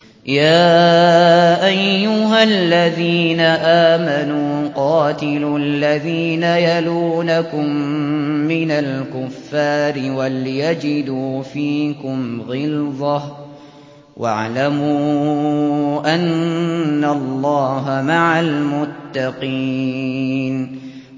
يَا أَيُّهَا الَّذِينَ آمَنُوا قَاتِلُوا الَّذِينَ يَلُونَكُم مِّنَ الْكُفَّارِ وَلْيَجِدُوا فِيكُمْ غِلْظَةً ۚ وَاعْلَمُوا أَنَّ اللَّهَ مَعَ الْمُتَّقِينَ